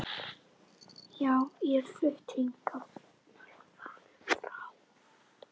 Já, ég er flutt hingað.